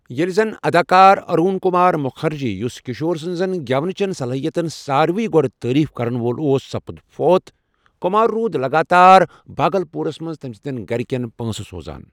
ییلہِ زن اداکار ارون کمار مکھرجی، یُس كِشور سٕنزن گیونہٕ چین صلٲٛیتن سارِوے گو٘ڈٕ تٲریف كرن وول اوس سپُدفوت ، كُمار روُد لگاتار باگلپورس منز تمہِ سندین گھرِكین پٲنسہٕ سوزان ۔